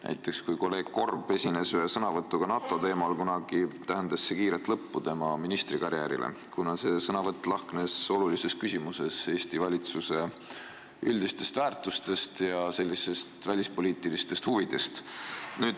Näiteks kui kolleeg Korb esines kunagi ühe sõnavõtuga NATO teemal, siis tähendas see kiiret lõppu tema ministrikarjäärile, kuna tema seisukoht olulises küsimuses erines Eesti valitsuse üldistest väärtushinnangutest ja välispoliitilistest huvidest.